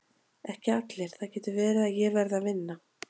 Ekki allir, það getur verið að ég verði að vinna.